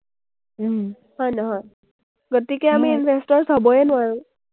হয়, নহয়? গতিকে আমি investors হ’বয়ে নোৱাৰো।